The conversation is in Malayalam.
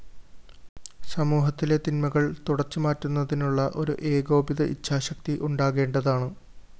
സമൂഹത്തിലെ തിന്മകള്‍ തുടച്ചുമാറ്റുന്നതിനുള്ള ഒരു ഏകോപിത ഇച്ഛാശക്തി ഉണ്ടാകേണ്ടതാണ്